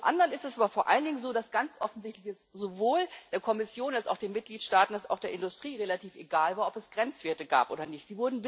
Zum anderen ist es aber vor allen Dingen so, dass es ganz offensichtlich sowohl der Kommission als auch den Mitgliedstaaten als auch der Industrie relativ egal war, ob es Grenzwerte gab oder nicht.